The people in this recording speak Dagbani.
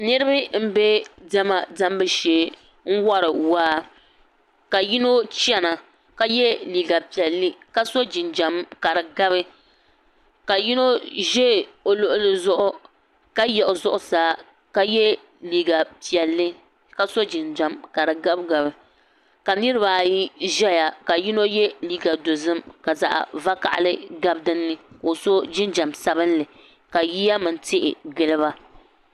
niriba m-be diɛma diɛmbu shee n-wari waa ka yino chana ka ye liiga piɛlli ka so jinjam ka di gabi ka yino ʒe o luɣili zuɣu ka yiɣi zuɣusaa ka ye liiga piɛlli ka so jinjam ka di gabigabi ka niriba ayi ʒaya ka yino ye liiga dozim ka zaɣ' vakahili gabi din ni ka o so jinjam sabinli ka yiya mini tihi gili ba